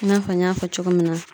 I n'a fɔ n y'a fɔ cogo min na.